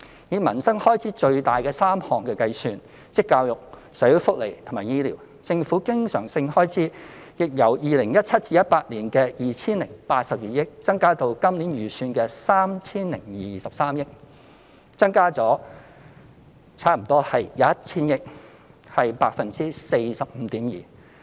以民生開支最大3個項目，亦即教育、社會福利及醫療開支計算，政府經常性開支亦由 2017-2018 年度的 2,082 億元，增加至本年度預算的 3,023 億元，增加了差不多 1,000 億元，亦即 45.2%。